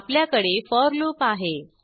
आपल्याकडे for loop आहे